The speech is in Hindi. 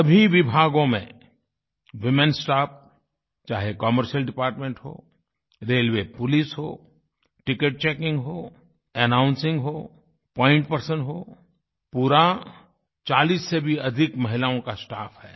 सभी विभागों में वूमेन स्टाफ चाहे कमर्शियल डिपार्टमेंट हो रेलवे पोलिस हो टिकेट चेकिंग हो अनाउंसिंग हो पॉइंट पर्सन हो पूरा 40 से भी अधिक महिलाओं का स्टाफ है